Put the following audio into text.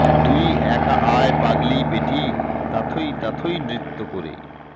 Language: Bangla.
তুই একা আয় পাগলী বেটী তাথৈ তাথৈ নৃত্য করে